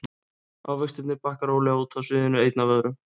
Ávextirnir bakka rólega út af sviðinu einn af öðrum.